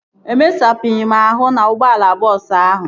Emesapụghị m ahụ n'ụgbọala bọọsu ahụ